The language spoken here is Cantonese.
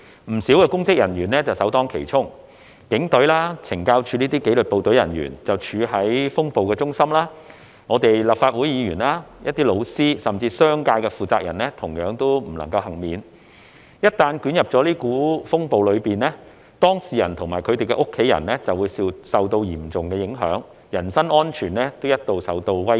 不少公職人員首當其衝，警隊、懲教署等紀律部隊人員處於風暴的中心；我們立法會議員、老師，甚至是商界的負責人同樣不能幸免；一旦捲入這股風暴中，當事人及他們的家人就會受到嚴重影響，人身安全一度也受到威脅。